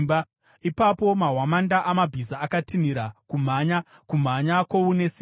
Ipapo mahwanda amabhiza akatinhira, kumhanya, kumhanya kwoune simba.